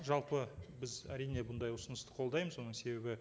жалпы біз әрине бұндай ұсынысты қолдаймыз оның себебі